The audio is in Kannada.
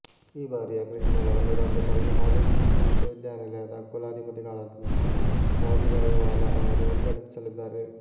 ಈ ಬಾರಿಯ ಕೃಷಿ ಮೇಳವನ್ನು ರಾಜ್ಯಪಾಲರು ಹಾಗೂ ಕೃಷಿ ವಿಶ್ವವಿದ್ಯಾನಿಲಯದ ಕುಲಾಧಿಪತಿಗಳಾದಂತಹ ವಾಜುಭಾಯಿವಾಲಾ ಅವರು ಉದ್ಘಾಟಿಸಲಿದ್ದಾರೆ